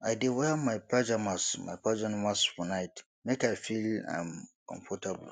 i dey wear my pajamas my pajamas for night make i feel um comfortable